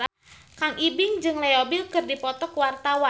Kang Ibing jeung Leo Bill keur dipoto ku wartawan